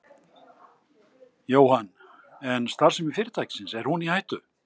Jóhann: En starfsemi fyrirtækisins, er hún í hættu?